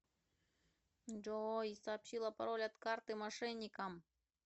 джой сообщила пароль от карты мошенникам